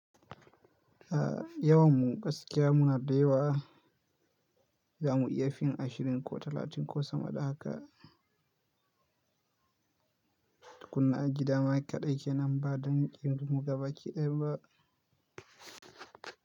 Yawan mu gaskiya muna da yawa, za mu iya fin ashirin ko talatin ko sama da haka. Kunna gida ma kaɗai kenan ba don kin mu gaba kiɗan ba.